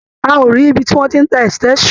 A ò rí ibi tí wọ́n ti ń tá extension.